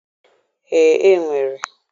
Ee, e nwere.